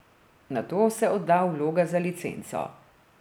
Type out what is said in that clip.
Nato se odda vloga za licenco.